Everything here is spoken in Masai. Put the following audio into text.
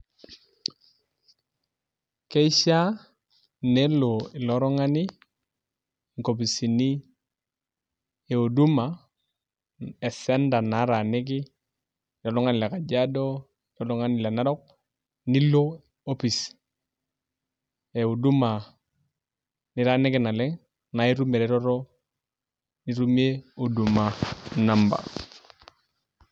Keishaa nelo ilo tung'ani enkopisini e huduma esenta naataaniki enaa oltung'ani le kajiado enaa oltungani le narok nilo opis e huduma nitaaniki naleng' naa itum ereteto nitumie huduma namba.